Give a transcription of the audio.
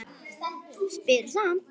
Spyr samt.